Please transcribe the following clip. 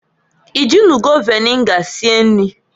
I jinugo viniga sie nri?